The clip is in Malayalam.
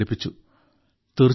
നിരവധി പ്രചാരണങ്ങൾ സംഘടിപ്പിച്ചു